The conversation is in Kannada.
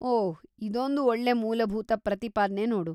ಓಹ್, ಇದೊಂದು ಒಳ್ಳೆ ಮೂಲಭೂತ ಪ್ರತಿಪಾದ್ನೆ ನೋಡು.